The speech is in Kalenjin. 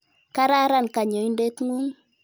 Kararan kanyoindet ng'ung'.